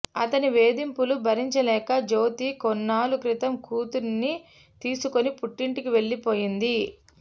అతని వేధింపులు భరించలేక జ్యోతి కొన్నాళ్ల క్రితం కూతురిని తీసుకుని పుట్టింటికి వెళ్లిపోయింది